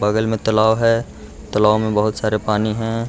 बगल में तालाब है तालाब में बहुत सारा पानी हैं।